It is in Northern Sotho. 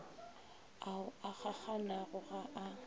ao a kgakganago ga a